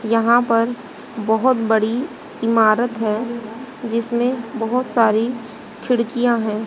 यहां पर बहोत बड़ी इमारत है जिसमें बहोत सारी खिड़कियां है।